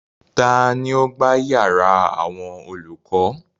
Tani ó gbá yàrá àwọn olùkọ́?